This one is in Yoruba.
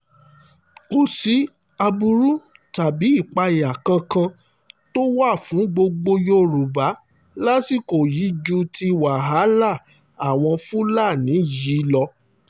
kò sí aburú tàbí ìpáyà kankan tó wà fún gbogbo yorùbá lásìkò yìí ju ti wàhálà àwọn fúlàní yìí lọ